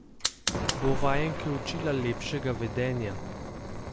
Bo vajenke učila lepšega vedenja?